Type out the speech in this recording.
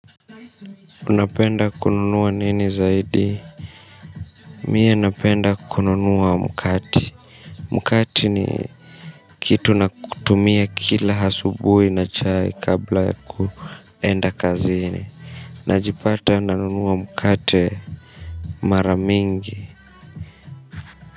Unapenda kununua nini zaidi Mi napenda kununua mkate. Mkate ni kitu natumia kila asubuhi na chai kabla ya kuenda kazini. Najipata nanunua mkate mara mingi.